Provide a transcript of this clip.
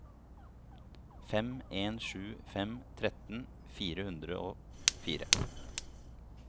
fem en sju fem tretten fire hundre og fire